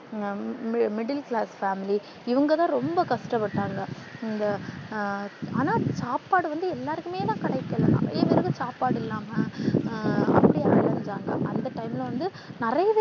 middle class family இவங்கதான் ரொம்ப கஷ்டப்பட்டாங்க இந்த ஆனா சாப்பாடு வந்து எல்லாருக்குமே தான் கிடைக்கல நிறையா பேருக்கு சாப்பாடு இல்லமா அந்த நேரத்துல வந்து நிறையா பேரு